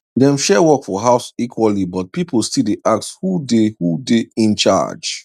dem share work for house equally but people still dey ask who dey who dey in charge